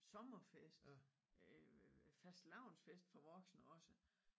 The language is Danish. Sommerfest øh fastelavnsfest for voksne også